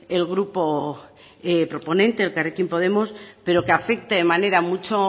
el grupo proponente elkarrekin podemos pero que afecta de manera mucho